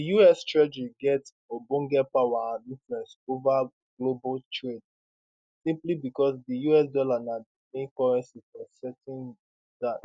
di us treasury get ogbonge power and influence ova global trade simply becos di us dollar na di main currency for settling dat